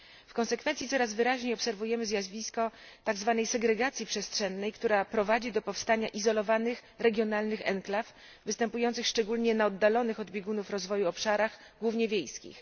W konsekwencji coraz wyraźniej obserwujemy zjawisko tzw. segregacji przestrzennej, która prowadzi do powstania izolowanych, regionalnych enklaw, występujących szczególnie na oddalonych od biegunów rozwoju obszarach, głównie wiejskich.